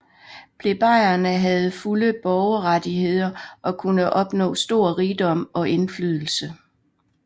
Plebejerne havde fulde borgerrettigheder og kunne opnå stor rigdom og indflydelse